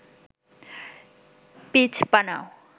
pitch বানাও